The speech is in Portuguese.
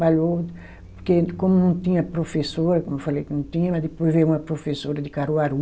Porque como não tinha professora, como eu falei que não tinha, mas depois veio uma professora de Caruaru,